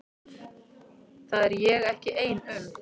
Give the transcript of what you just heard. Það er ég ekki ein um.